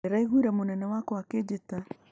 Ndĩraiguire mũnene wakwa akĩnjĩta